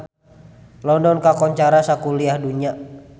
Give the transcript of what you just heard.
London kakoncara sakuliah dunya